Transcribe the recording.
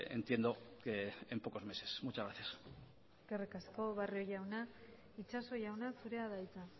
entiendo que en pocos meses muchas gracias eskerrik asko barrio jauna itxaso jauna zurea da hitza